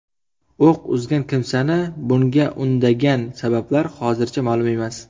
O‘q uzgan kimsani bunga undagan sabablar hozircha ma’lum emas.